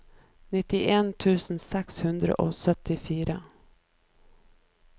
nittien tusen seks hundre og syttifire